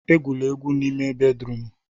Egwula egwu n'ime bédrụum!